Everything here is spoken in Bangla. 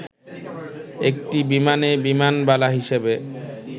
একটি বিমানে বিমানবালা হিসেবে